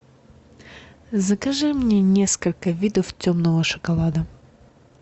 закажи мне несколько видов темного шоколада